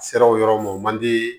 Sira o yɔrɔ ma o man di